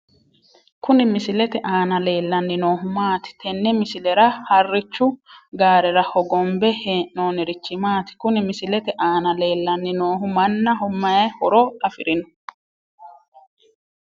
Kuni misilete aana leellanni noohu maati? tenne misilera harrichu gaarera hogombe hee'noonnirichi maati? Kuni misilete aana leellanni noohu mannaho mayi horo afirino?